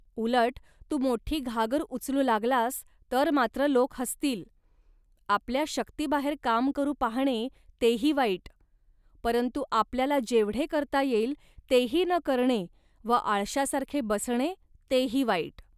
उलट, तू मोठी घागर उचलू लागलास, तर मात्र लोक हसतील. आपल्या शक्तीबाहेर काम करू पाहणे तेही वाईट, परंतु आपल्याला जेवढे करता येईल, तेही न करणे व आळशासारखे बसणे तेही वाईट